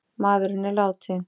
Maðurinn er látinn